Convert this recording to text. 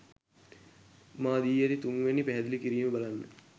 මා දී ඇති තුන්වැනි පැහැදිලි කිරීම බලන්න.